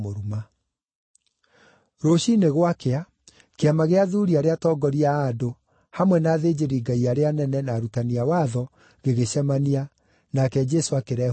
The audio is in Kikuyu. Rũciinĩ gwakĩa, kĩama gĩa athuuri arĩa atongoria a andũ, hamwe na athĩnjĩri-Ngai arĩa anene, na arutani a watho, gĩgĩcemania, nake Jesũ akĩrehwo mbere yao.